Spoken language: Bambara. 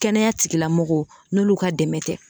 Kɛnɛya tigilamɔgɔw n'olu ka dɛmɛ tɛ